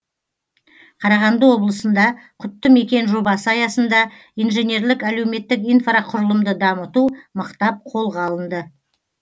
қарағанды облысында құтты мекен жобасы аясында инженерлік әлеуметтік инфрақұрылымды дамыту мықтап қолға алынды